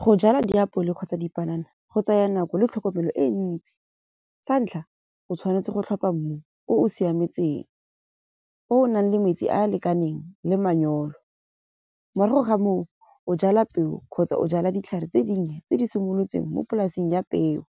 Go jala diapole kgotsa dipanana go tsaya nako le tlhokomelo e ntsi. Sa ntlha, o tshwanetse go tlhopha mmu o o siametseng, o nang le metsi a lekaneng le manyolo. Morago ga moo o jala peo kgotsa o jala ditlhare tse dinnye tse di simolotseng mo polaseng ya peo.